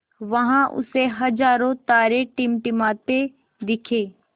वहाँ उसे हज़ारों तारे टिमटिमाते दिखे